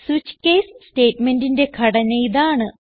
switch case സ്റ്റേറ്റ്മെന്റിന്റെ ഘടന ഇതാണ്